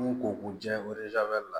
M'u ko k'u jɛ la